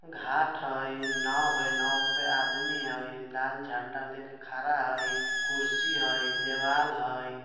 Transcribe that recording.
घाट हय नाव हय नाव पे आदमी हय लाल झंडा लेके खड़ा हय कुर्शी हय देवाल हय।